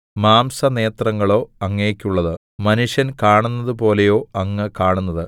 മാംസനേത്രങ്ങളോ അങ്ങയ്ക്കുള്ളത് മനുഷ്യൻ കാണുന്നതുപോലെയോ അങ്ങ് കാണുന്നത്